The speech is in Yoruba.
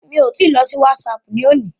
Mi ò tí I lọ sí WhatsApp ní òní.